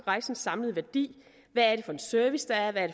rejsens samlede værdi hvad er det for en service der er hvad er